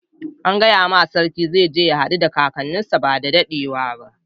An gaya ma sarki cewa zai je ya haddu da kakanin sa badda daddewa ba.